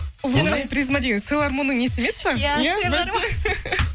лунная призма деген силармонның несі емес па